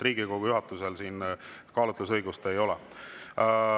Riigikogu juhatusel siin kaalutlusõigust ei ole.